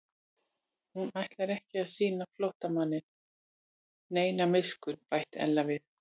Hún ætlar ekki að sýna flóttamanninum neina miskunn bætti Ella við.